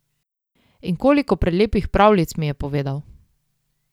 In koliko prelepih pravljic mi je povedal!